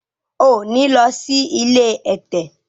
o ní ló sì ilé ẹ̀tẹ̀!